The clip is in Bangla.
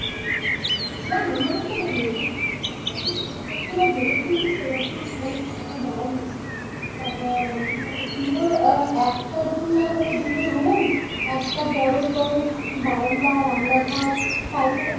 হ্যাঁ হবে না কেন দেখ একটা কিছু পরিকল্পনা ভেবেই কিন্তু সেরকম মানে টাকাটা দেওয়া হচ্ছে। দেখ মানে উম আহ একটা না হলো দুটো room একটা বড়ো তোর বারান্দা, রান্না ঘর, পায়খানা